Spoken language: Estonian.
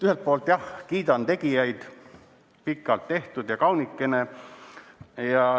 Ühelt poolt, jah, kiidan tegijaid, pikalt tehtud ja kaunikene.